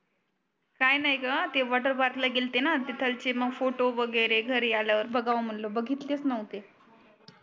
काही नाही ग ते वॉटर पार्क ला गेलते णा तर तिथलचे मग फोटो वगेरे घरी आल्या वर बगाव म्हणल बगीतलेच नोव्हते